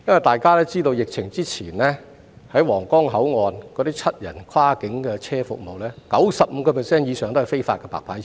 大家都知道出現疫情之前，在皇崗口岸提供服務的七人跨境車，其實有 95% 以上也是違法的"白牌車"。